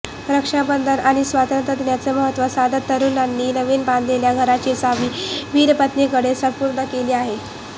रक्षाबंधन आणि स्वातंत्र्य दिनाचं महत्व साधत तरूणांनी नवीन बांधलेल्या घराची चावी वीरपत्नीकडे सुपूर्द केली आहे